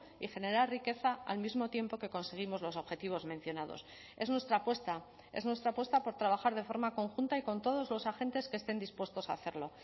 y generar riqueza al mismo tiempo que conseguimos los objetivos mencionados es nuestra apuesta es nuestra apuesta por trabajar de forma conjunta y con todos los agentes que estén dispuestos a hacerlo